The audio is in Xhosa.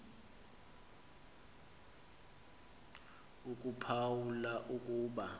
akuphawu la ukuba